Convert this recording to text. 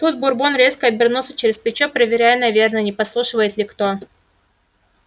тут бурбон резко обернулся через плечо проверяя наверное не подслушивает ли кто